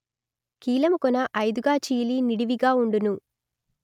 కీలము కొన ఐదుగా చీలి నిడివిగా ఉండును